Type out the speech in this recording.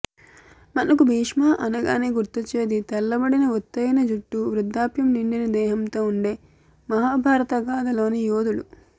మనకు భీష్మ అనగానే గుర్తొచ్చేది తెల్లబడిన ఒత్తైన జుట్టు వృద్ధాప్యం నిండిన దేహంతో ఉండే మహాభారత గాధలోని యోధుడు